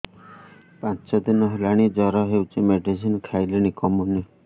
ପାଞ୍ଚ ଦିନ ହେଲାଣି ଜର ହଉଚି ମେଡିସିନ ଖାଇଲିଣି କମୁନି